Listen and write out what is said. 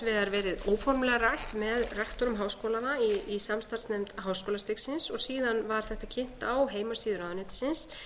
vegar verið óformlega rætt með rektorum háskólanna í samstarfsnefnd háskólastigsins og síðan var þetta kynnt á heimasíðu ráðuneytisins